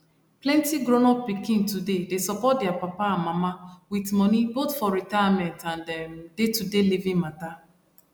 plenty grownup pikin today dey support their papa and mama with moneyboth for retirement and um daytoday living matter